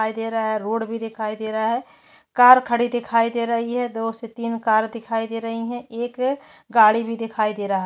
दिखाई दे रहा है रोड भी दिखाई दे रहा है कार खड़ी दिखाई दे रही है दो से तीन कार दिखाई दे रही है एक गाड़ी भी दिखाई दे रहा है।